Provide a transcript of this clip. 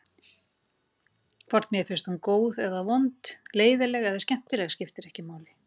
Hvort mér finnst hún góð eða vond, leiðinleg eða skemmtileg skiptir ekki máli.